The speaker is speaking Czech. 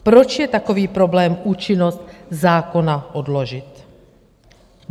Proč je takový problém účinnost zákona odložit?